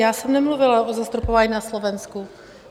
Já jsem nemluvila o zastropování na Slovensku.